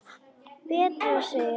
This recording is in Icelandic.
Betra, segir Ásgeir.